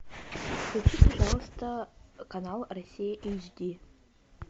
включи пожалуйста канал россия эйч ди